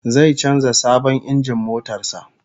Zai canza sabon injin motar sa